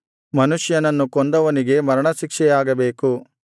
ಮನುಷ್ಯನನ್ನು ಕೊಂದವನಿಗೆ ಮರಣ ಶಿಕ್ಷೆಯಾಗಬೇಕು